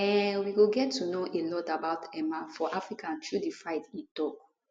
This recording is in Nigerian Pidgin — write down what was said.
um we go get to know a lot about mma for africa through dis fight e tok